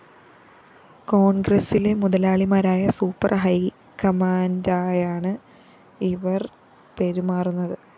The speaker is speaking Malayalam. കോണ്‍ഗ്രസ്സിലെ മുതലാളിമാരായ സൂപ്പർ ഹൈക്കമാന്റായാണ് ഇവര്‍ പെരുമാറുന്നത്